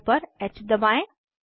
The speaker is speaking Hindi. कीबोर्ड पर ह दबाएं